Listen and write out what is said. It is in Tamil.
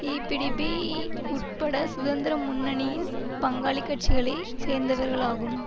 ஈபிடிபி உட்பட சுதந்திர முன்னணியின் பங்காளி கட்சிகளை சேர்ந்தவர்களாகும்